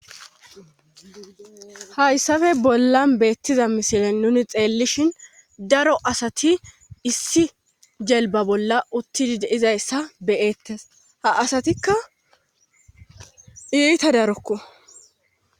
hayssafe bolla beettiza misilen nuni xeellishin daro asati issi jelba bolla uttidi de'izayssa be'eettes ha asatikka iita darokko